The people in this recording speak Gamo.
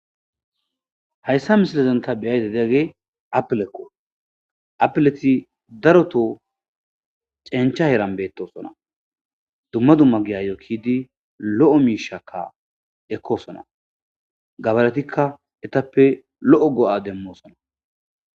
Hayissa missilezan ta beyda diyagey apilekko apilet daroto cencha heran bettosona dumma dumma giyayo ekidi lo'o mishshakka ekosona gabaretikka etappe lo'o go"a demosonna